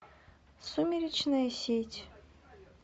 сумеречная сеть